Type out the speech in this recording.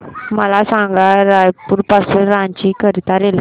मला सांगा रायपुर पासून रांची करीता रेल्वे